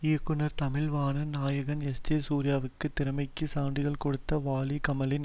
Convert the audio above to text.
இயக்குனர் தமிழ்வாணன் நாயகன் எஸ்ஜே சூர்யாவுக்கு திறமைக்கு சான்றிதழ் கொடுத்த வாலி கமலின்